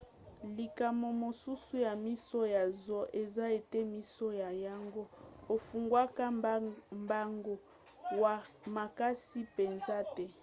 likama mosusu ya miso ya zoom eza ete miso na yango efungwamaka mbango makasi mpenza te